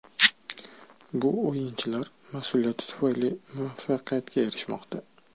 Bu o‘yinchilar mas’uliyati tufayli muvaffaqiyatga erishmoqda.